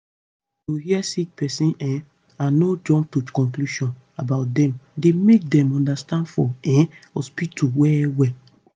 to hear sick pesin um and no jump to conclusion about dem dey make dem understand for um hospitol well well